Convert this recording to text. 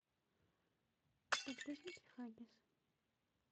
подгузники хаггис